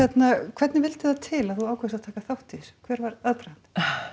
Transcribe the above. hvernig vildi það til að þú ákvaðst að taka þátt í þessu hver var aðdragandinn